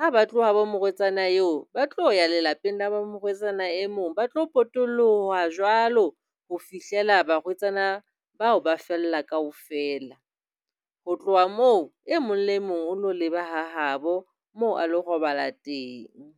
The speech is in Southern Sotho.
Ha ba tloha habo morwetsana eo, ba tlo ya lelapeng la ba morwetsana e mong. Ba tlo potolloha jwalo ho fihlela barwetsana bao ba fella kaofela. Ho tloha moo, e mong le e mong o lo leba ha habo moo a lo robala teng.